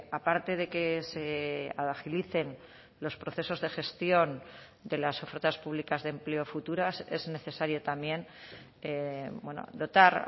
aparte de que se agilicen los procesos de gestión de las ofertas públicas de empleo futuras es necesario también dotar